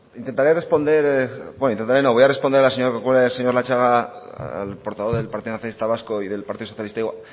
sí intentaré responder bueno intentaré no voy a responder a la señora corcuera y al señor latxaga al portavoz del partido nacionalista vasco y del partido socialista